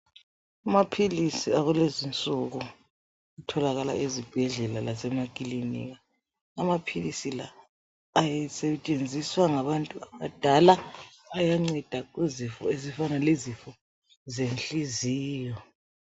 Amaphilisi akulezi insuku atholakala ezibhedlela lase makilinika, amaphilisi la asetshenziswa ngabantu abadala ayanceda kuzifo ezifana lezifo zenhliziyo.